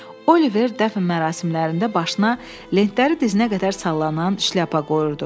Oliver dəfn mərasimlərində başına lentləri dizinə qədər sallanan şlyapa qoyurdu.